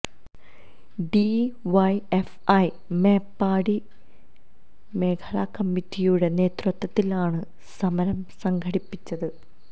D Y F I Meppadi മേഖല കമ്മിറ്റിയുടെ നേതൃത്വത്തിലാണ് സമരം സംഘടിപ്പിച്ചത്